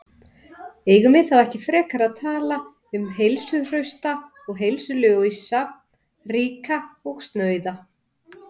Eigum við þá ekki frekar að tala um heilsuhrausta og heilsulausa, ríka og snauða?